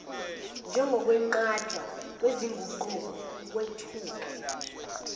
njengokwenqatshwa kwezinguquko ukwethuka